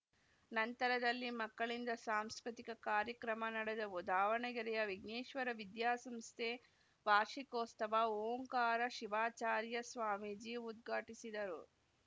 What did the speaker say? ನಂತರದಲ್ಲಿ ಮಕ್ಕಳಿಂದ ಸಾಂಸ್ಕೃತಿಕ ಕಾರ್ಯಕ್ರಮ ನಡೆದವು ದಾವಣಗೆರೆಯ ವಿಘ್ನೇಶ್ವರ ವಿದ್ಯಾಸಂಸ್ಥೆ ವಾರ್ಷಿಕೋಸ್ ತವ ಓಂಕಾರ ಶಿವಾಚಾರ್ಯ ಸ್ವಾಮೀಜಿ ಉದ್ಘಾಟಿಸಿದರು